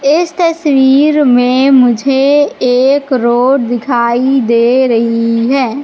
इस तस्वीर में मुझे एक रोड दिखाई दे रही है।